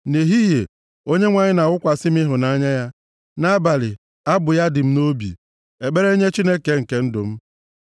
Nʼehihie, Onyenwe anyị na-awụkwasị m ịhụnanya ya, nʼabalị abụ ya dị m nʼobi, ekpere nye Chineke nke ndụ m.